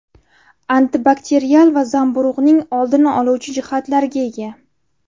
Antibakterial va zamburug‘ning oldini oluvchi jihatlarga ega.